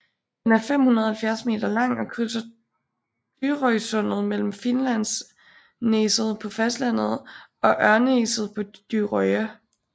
Den er 570 meter lang og krydser Dyrøysundet mellem Finnlandsneset på fastlandet og Ørnneset på Dyrøya